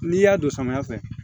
N'i y'a don samiya fɛ